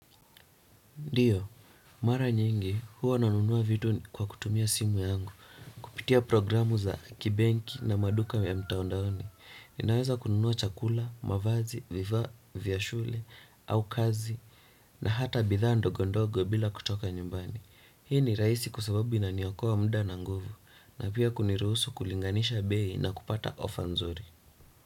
Ndio, mara nyingi, huwa nanunua vitu kwa kutumia simu yangu, kupitia programu za kibenki na maduka ya mitandaoni. Ninaweza kununua chakula, mavazi, vifaa vya shule, au kazi, na hata bidhaa ndogo ndogo bila kutoka nyumbani. Hii ni rahisi kwa sababu inaniokoa muda na nguvu, na pia kuniruhusu kulinganisha bei na kupata offer nzuri.